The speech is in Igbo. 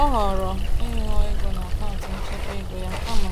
Ọ họọrọ ịṅụọ ego n’akaụntụ nchekwa ego ya kama